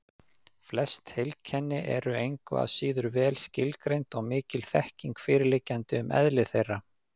Flest heilkenni eru engu að síður vel skilgreind og mikil þekking fyrirliggjandi um eðli þeirra.